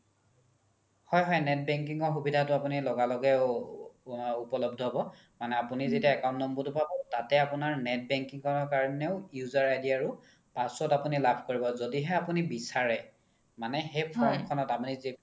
হয় হয় net banking ৰ সুবিধাতো আপোনি লগা লগে উপ্লব্ধ হ্'ব মানে আপোনি যেতিয়া account number তো পাব তাতে আপোনাৰ net banking ৰ কাৰণেও user ID আৰু password আপোনি লাভ কৰিব য্দিহে আপোনি বিচাৰে মানে সেই form খনত